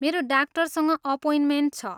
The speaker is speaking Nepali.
मेरो डाक्टरसँग अपोइन्टमेन्ट छ।